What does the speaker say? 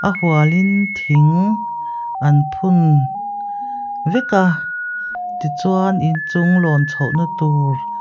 hual in thing an phun vek a tichuan inchung lawn chhoh na tur--